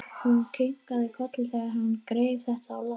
Hún kinkaði kolli þegar hann greip þetta á lofti.